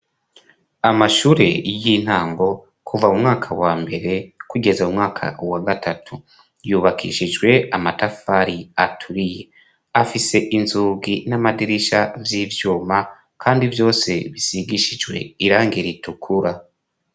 Amashure y'intango, kuva mu mwaka wa mbere kugeza mu mwaka wa gatatu. Yubakishijwe amatafari aturiye. fise inzugi n'amadirisha vy'ivyuma, kandi vyose bisigishijwe irangira ritukura.